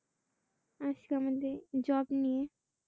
আজকে আমাদের job নিয়ে